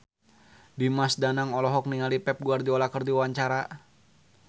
Dimas Danang olohok ningali Pep Guardiola keur diwawancara